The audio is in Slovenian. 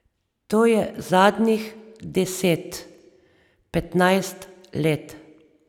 To je zadnjih deset, petnajst let.